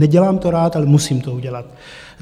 Nedělám to rád, ale musím to udělat.